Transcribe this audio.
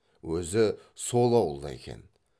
өзі сол ауылда екен